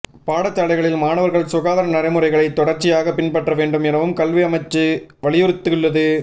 பாடசாலைகளில் மாணவர்கள் சுகாதார நடைமுறைகளை தொடர்ச்சியாக பின்பற்ற வேண்டும் எனவும் கல்வி அமைச்சு வலியுறுத்தியுள்ளது